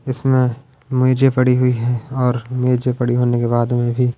इसमें मेजे पड़ी हुई है और मेजे पड़ी होने के बाद में भी--